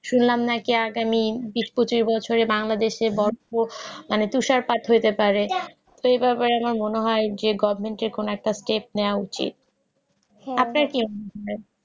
শুনলাম নাকি আগামী বিষ পঁচিশ বছর বাংলাদেশে নাকি তুষারপাত হতে পারে তুই তো এভাবে আমার মনে হয় যে গভমেন্টের কোন একটা পদক্ষেপ নেওয়া উচিত